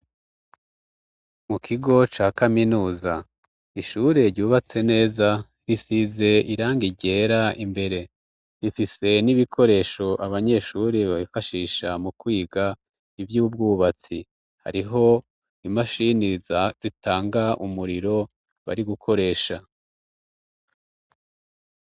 Mu kigo ca kaminuza ishure ryubatse neza risize iranga irera imbere rifise n'ibikoresho abanyeshuri babifashisha mu kwiga ivyo ubwubatsi hariho imashini zitanga umuriro bari gukoresha.